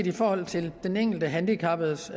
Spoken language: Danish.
i forhold til den enkelte handicappedes